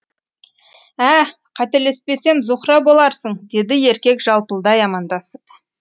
ә қателеспесем зухра боларсың деді еркек жалпылдай амандасып